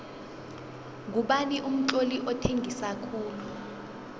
ngubani umtloli othengisa khulu